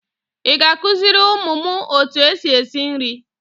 Ị ga-akuziri ụmụ m otu esi esi nri?